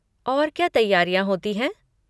और क्या तैयारियाँ होती हैं?